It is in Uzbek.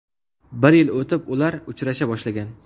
Bir yil o‘tib, ular uchrasha boshlagan.